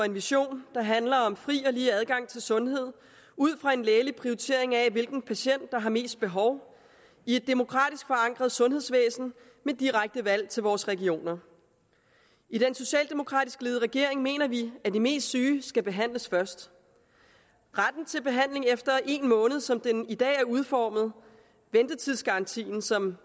en vision der handler om fri og lige adgang til sundhed ud fra en lægelig prioritering af hvilken patient der har mest behov i et demokratisk forankret sundhedsvæsen med direkte valg til vores regioner i den socialdemokratisk ledede regering mener vi at de mest syge skal behandles først retten til behandling efter en måned som den i dag er udformet ventetidsgarantien som